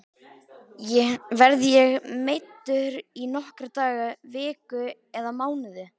Verð ég meiddur í nokkra daga, vikur eða mánuði?